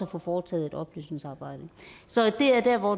få foretaget et oplysningsarbejde så det er der hvor